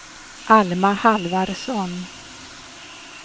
Alma Halvarsson